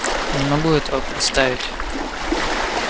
не могу этого представить